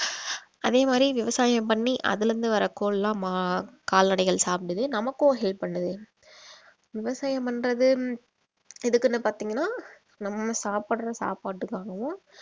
அதே மாதிரி விவசாயம் பண்ணி அதில இருந்து வர கோல்லாம் கால்நடைகள் சாப்பிடுது நமக்கும் help பண்ணுது விவசாயம் பண்றது எதுக்குன்னு பார்த்தீங்கன்னா நம்ம சாப்பிடுற சாப்பாட்டுக்காகவும்